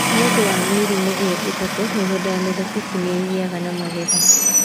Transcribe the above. Nĩ ũndũ wa mĩrimũ ĩyo ĩtatũ, mĩgũnda ya mĩthabibũ nĩ ĩgĩaga na magetha.